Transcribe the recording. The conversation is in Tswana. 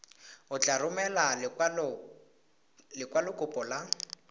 o tla romela lekwalokopo la